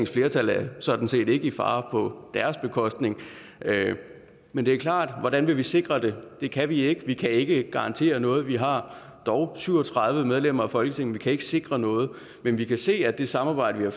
flertal er sådan set ikke i fare på grund af dem men det er klart er hvordan vi vil sikre det det kan vi ikke vi kan ikke garantere noget vi har dog syv og tredive medlemmer af folketinget kan ikke sikre noget men vi kan se at det samarbejde vi har